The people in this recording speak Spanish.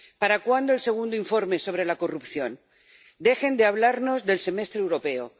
¿Para cuándo el segundo informe sobre la corrupción? Dejen de hablarnos del Semestre Europeo.